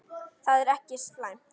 Það er ekki slæmt.